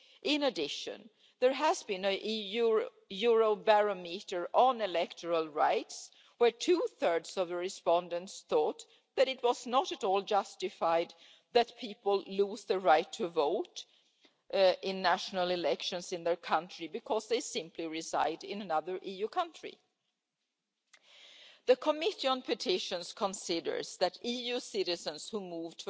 In addition, there has been a Eurobarometer on electoral rights, where two-thirds of the respondents thought that it was not at all justified that people lose the right to vote in national elections in their country simply because they reside in another EU country. The Committee on Petitions considers that EU citizens who move